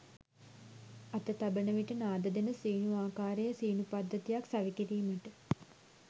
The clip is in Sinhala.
අත තබන විට නාද දෙන සීනු ආකාරයේ සීනු පද්ධතියක් සවිකිරීමට